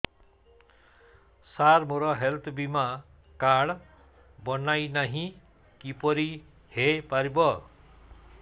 ସାର ମୋର ହେଲ୍ଥ ବୀମା କାର୍ଡ ବଣାଇନାହିଁ କିପରି ହୈ ପାରିବ